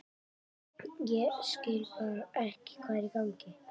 Ég bara skil ekki hvað er í gangi.